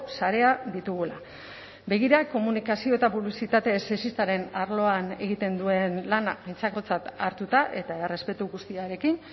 sarea ditugula begira komunikazio eta publizitate ez sexistaren arloan egiten duen lana aintzakotzat hartuta eta errespetu guztiarekin